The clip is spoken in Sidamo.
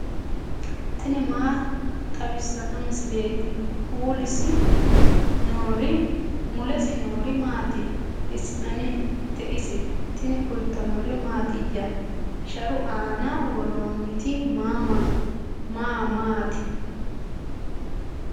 tini maa xawissanno misileeti ? mulese noori maati ? hiissinannite ise ? tini kultannori mattiya? Sharu aanna woroonnitti maa maati?